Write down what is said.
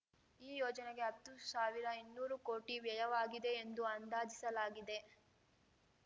ಈ ಯೋಜನೆಗೆ ಹತ್ತು ಸಾವಿರಇನ್ನೂರು ಕೋಟಿ ವ್ಯಯವಾಗಿದೆ ಎಂದು ಅಂದಾಜಿಸಲಾಗಿದೆ